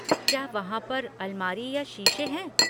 क्या वहाँ पर अलमारी या शीशे हैं?